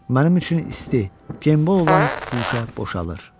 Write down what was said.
Mənim üçün isti, gembol olan guşə boşalır.